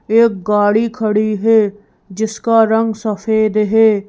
एक गाड़ी खड़ी है जिसका रंग सफेद है।